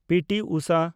P. T. Usha